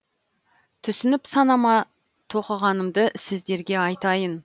түсініп санама тоқығанымды сіздерге айтайын